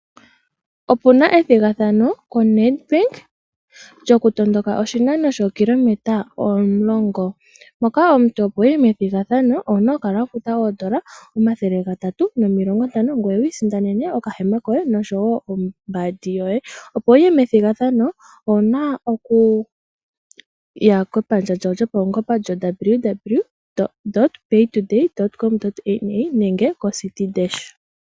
Opuna ethigathano koNedBank lyokutondoka oshinano shookilometa 10. Omuntu opo wuye methigathano owuna okukala wafuta N$350, ngoye wiisindanene okahema koye noshowoo ombandi yoye. Opo wuye methigathano owuna okuya kepandja lyawo lyopaungomba lyowww.paytoday.com.na/citidash.